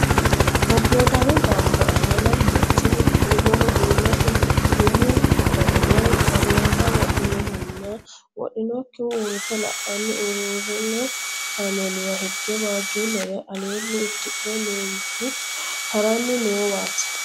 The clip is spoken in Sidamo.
Bobboodaame baatto aana lamu manchi mittu umoho duume umu uddano woy barineexa wodhinohunna wodhinokkihu uurrite la'anna uurrino kaameeliwa hige waajjuullere aleenni uddirinno meenti haranni noowaati?